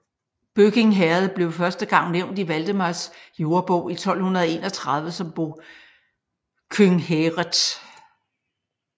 Bøking Herred blev første gang nævnt i Valdemars Jordebog i 1231 som Bokynghæreth